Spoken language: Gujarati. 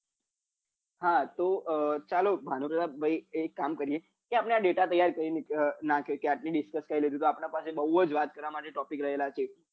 હા તો ચાલો ભાનુપ્રતાપ ભાઈ એક કામ કરીએ કે આપડે આ data તૈયાર કરી નાખ્યો કે આજ ની discuss કરી લીધું તો આપડા માટે બૌ જ વાત કરવા માટે topic રહેલા છે